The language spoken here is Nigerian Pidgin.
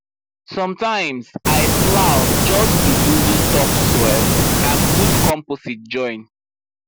sometimes i plow just to loosen topsoil and put compost join